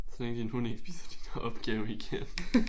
Så længe din hund ikke spiser din opgave igen